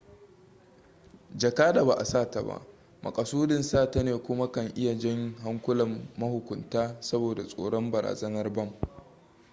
jaka da ba a sata ba makasudin sata ne kuma kan iya jan hankulan mahukunta saboda tsoron barazanar bam